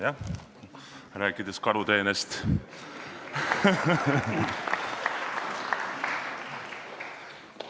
Jah, rääkides karuteenest ...